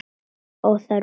Það er óþarfi.